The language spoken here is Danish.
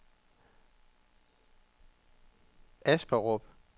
Asperup